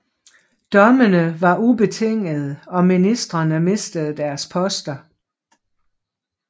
Dommene var ubetingede og ministerene mistede deres poster